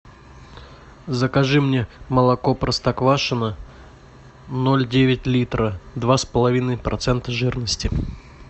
закажи мне молоко простоквашино ноль девять литра два с половиной процента жирности